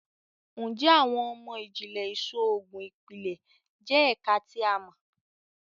Njẹ Awọn imọ-jinlẹ Iṣoogun Ipilẹ jẹ ẹka ti a mọ?